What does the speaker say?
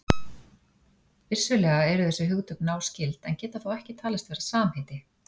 Vissulega eru þessi hugtök náskyld en geta þó ekki talist vera samheiti.